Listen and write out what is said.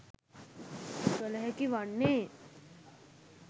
කළ හැකි වන්නේ